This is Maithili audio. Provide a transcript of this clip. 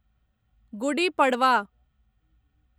गुडी पड़वा